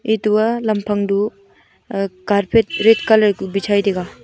etu aa lamphang du carpet red colour ku bichai taiga.